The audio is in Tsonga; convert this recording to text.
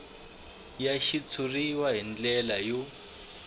ya xitshuriwa hi ndlela yo